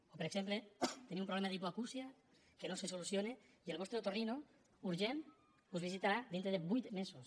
o per exemple teniu un problema d’hipoacúsia que no se soluciona i el vostre otorino urgent us visitarà dintre de vuit mesos